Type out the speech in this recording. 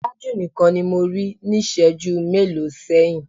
Tájù nìkan ni mo rí níṣẹ̀ẹ́jú mélòó sẹ́yìn.